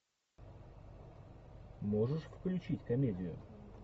можешь включить комедию